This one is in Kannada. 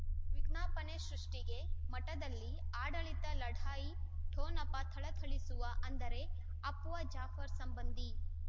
ವಿಜ್ಞಾಪನೆ ಸೃಷ್ಟಿಗೆ ಮಠದಲ್ಲಿ ಆಡಳಿತ ಲಢಾಯಿ ಠೊಣಪ ಥಳಥಳಿಸುವ ಅಂದರೆ ಅಪ್ಪುವ ಜಾಫರ್ ಸಂಬಂಧಿ